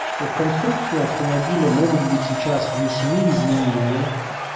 что в конструкцию автомобиля могут быть сейчас внесены изменения